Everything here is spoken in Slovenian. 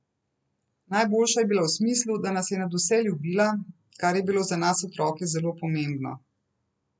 Najboljša je bila v smislu, da nas je nadvse ljubila, kar je bilo za nas otroke zelo pomembno.